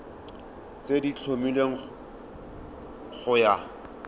tse di tlhomilweng go ya